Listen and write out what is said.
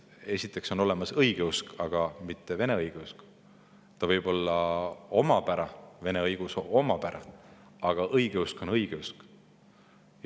Esiteks, on olemas õigeusk, aga mitte vene õigeusk, sellel võib olla vene õigeusu omapära, aga õigeusk on õigeusk.